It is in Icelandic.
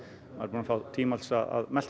að fá tíma til að melta